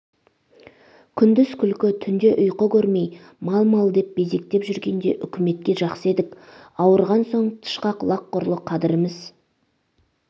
күндіз күлкі түнде ұйқы көрмей мал-мал деп безектеп жүргенде үкіметке жақсы едік ауырған соң тышқақ лақ құрлы қадырымыз